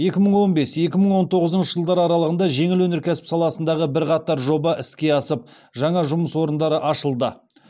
екі мың он бес екі мың он тоғызыншы жылдар аралығында жеңіл өнеркәсіп саласындағы бірқатар жоба іске асып жаңа жұмыс орындары ашылды